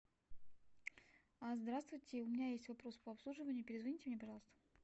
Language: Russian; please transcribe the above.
здравствуйте у меня есть вопрос по обслуживанию перезвоните мне пожалуйста